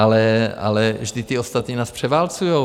Ale vždyť ti ostatní nás převálcují.